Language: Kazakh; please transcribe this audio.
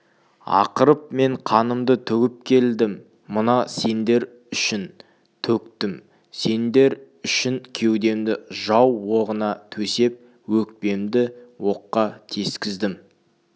ақырып мен қанымды төгіп келдім мына сендер үшін төктім сендер үшін кеудемді жау оғына төсеп өкпемді оққа тескіздім